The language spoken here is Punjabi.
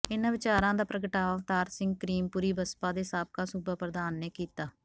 ਇਨ੍ਹਾਂ ਵਿਚਾਰਾਂ ਦਾ ਪ੍ਰਗਟਾਵਾ ਅਵਤਾਰ ਸਿੰਘ ਕਰੀਮਪੁਰੀ ਬਸਪਾ ਦੇ ਸਾਬਕਾ ਸੂਬਾ ਪ੍ਰਧਾਨ ਨੇ ਕੀਤਾ